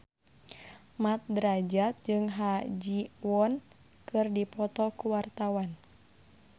Mat Drajat jeung Ha Ji Won keur dipoto ku wartawan